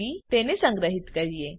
ચાલો તેને સંગ્રહીએ